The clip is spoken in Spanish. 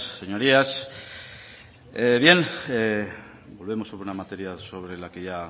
señorías bien volvemos sobre una materia sobre la que ya